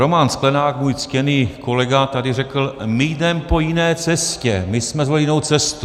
Roman Sklenák, můj ctěný kolega, tady řekl: my jdeme po jiné cestě, my jsme zvolili jinou cestu.